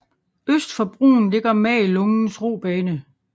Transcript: Øst for broen ligger Magelungens robane